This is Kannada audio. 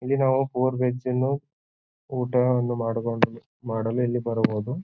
ಇಲ್ಲಿ ನಾವು ಪುರ್ ವೆಜ್ ಅನ್ನು ಊಟವನ್ನು ಮಾಡುವ ಮಾಡಲು ಇಲ್ಲಿ ಬರಬಹುದು.